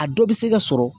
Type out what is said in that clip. A dɔ bɛ se ka sɔrɔ